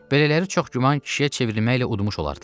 Belələri çox güman kişiyə çevrilməklə udmuş olardılar.